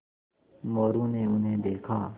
मोरू ने उन्हें देखा